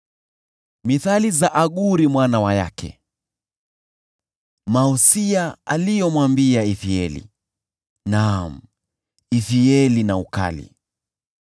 Misemo ya Aguri mwana wa Yake, usia: Huyu mtu alimwambia Ithieli, naam, kwa Ithieli na kwa Ukali: